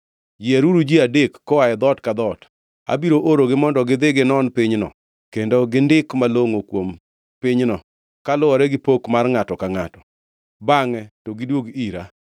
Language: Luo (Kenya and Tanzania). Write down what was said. Yieruru ji adek koa e dhoot ka dhoot. Abiro oorogi mondo gidhi ginon pinyno kendo gindik malongʼo kuom pinyno, kaluwore gi pok mar ngʼato ka ngʼato. Bangʼe, to gidwog ira.